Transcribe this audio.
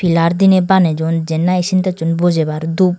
pillar diney baneyon jyen nahi sintex un bojebar dhup.